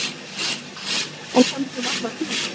En kannski um alla tíð.